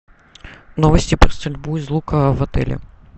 новости про стрельбу из лука в отеле